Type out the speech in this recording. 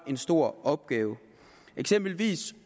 en stor opgave eksemplet er